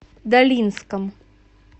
долинском